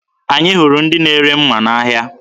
Anyị hụrụ ndị na-ere mma n'ahịa.